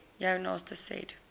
jou naaste said